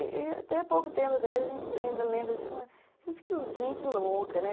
E até pouco tempo atrás a gente ainda lembra de falar, gente, que gente louca, né?